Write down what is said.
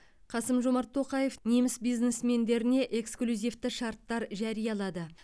қасым жомарт тоқаев неміс бизнесмендеріне эксклюзивті шарттар жариялады